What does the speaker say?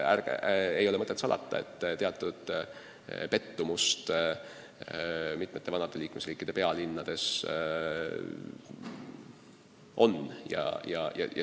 Ei ole mõtet salata, et teatud pettumust vanade liikmesriikide pealinnades on.